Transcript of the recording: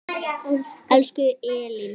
Elsku Elín.